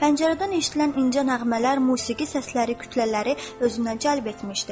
Pəncərədən eşidilən incə nəğmələr, musiqi səsləri kütlələri özünə cəlb etmişdi.